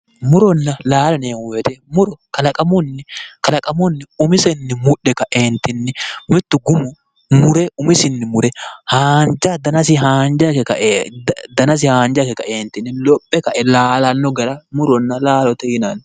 Muronna laalo yineemmo woyite muro kalaqamunni umisenni mudhe kaeentinni mittu gumu mure umisinni mure haanja danasi haanja ikke kae danasi haanja ikke kaeentinni lophe kae laalanno gara muronna laalote yinanni.